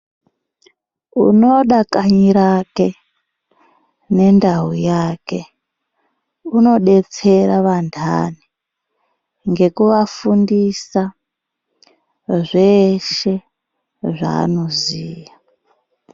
Unoda kanyi rake nendau yake unodetsera vanthani ngekuvafundisa zveshe zvaanoziya.